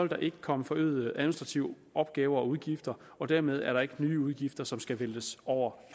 der ikke komme forøgede administrative opgaver og udgifter og dermed er der ikke nye udgifter som skal væltes over